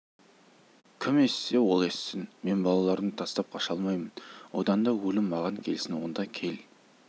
кім естісе ол естісін мен балаларымды тастап қаша алмаймын одан да өлім маған келсін онда кел